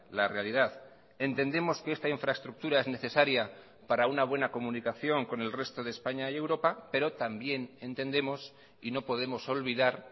la realidad entendemos que esta infraestructura es necesaria para una buena comunicación con el resto de españa y europa pero también entendemos y no podemos olvidar